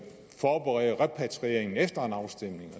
forberede repatrieringen efter en afstemning